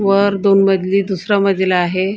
वर दोन मजली दुसरा दिला आहे.